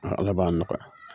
Nga ala b'a nɔgɔya